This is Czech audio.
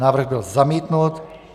Návrh byl zamítnut.